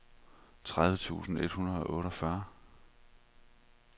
tredive tusind et hundrede og otteogfyrre